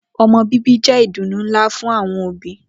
O̩mo̩ bíbí jé̩ ìdùnnú ńlá fún àwo̩n òbí